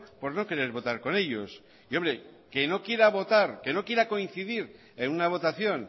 por no querer votar con ellos y hombre que no quiera votar que no quiera coincidir en una votación